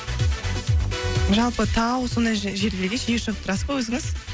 жалпы тау сондай жерлерге жиі шығып тұрасыз ба өзіңіз